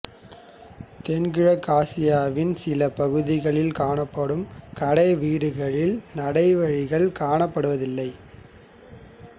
தென்கிழக்காசியாவின் சில பகுதிகளில் காணப்படும் கடைவீடுகளில் நடை வழிகள் காணப்படுவதில்லை